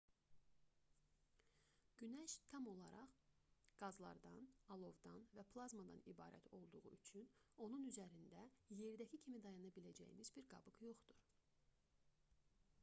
günəş tam olaraq qazlardan alovdan və plazmadan ibarət olduğu üçün onun üzərində yerdəki kimi dayana biləcəyiniz bir qabıq yoxdur